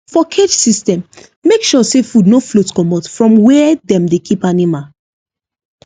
for cage system make sure say food no float komot from where dem dey keep animal